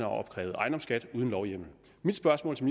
opkrævet ejendomsskat uden lovhjemmel mit spørgsmål til